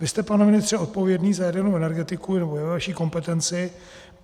Vy jste, pane ministře, odpovědný za jadernou energetiku, nebo je ve vaší kompetenci.